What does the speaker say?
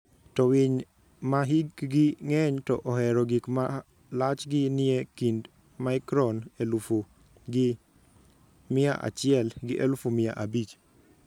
to winy ma hikgi ng'eny to ohero gik ma lachgi nie kind micron elufu gi mia achiel gi elufu mia abich.